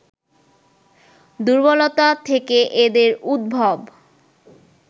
দুর্বলতা থেকে এদের উদ্ভব